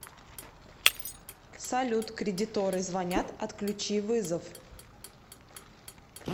салют кредиторы звонят отключи вызов